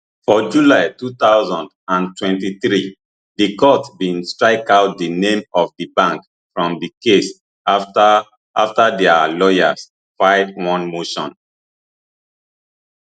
for july two thousand and twenty-three di court bin strikeout di name of di bank from di case afta afta dia lawyers file one motion